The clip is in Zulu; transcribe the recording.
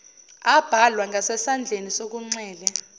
abhalwa ngasesandleni sokunxele